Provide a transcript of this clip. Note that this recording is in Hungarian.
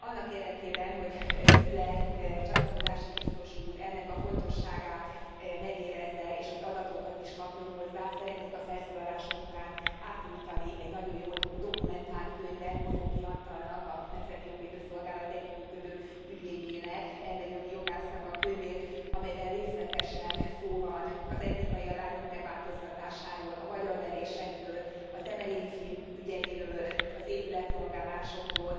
Annak érdekében, hogy Füle csatlakozási biztos úr ennek fontosságát megérezze és hogy adatokat is kapjon hozzá szeretnék a felszólalásom után átnyújtani egy nagyon jól dokumentált könyvet, Bozóki Antalnak a Nemzeti Jogvédő Szolgálat együttműködő ügyvédjének, emberi jogi jogásznak a könyvét, amelyben részletesen szó van az etnikai arányok megváltoztatásáról, a magyarverésekről, a temerini fiúk ügyeiről, az épületrongálásokról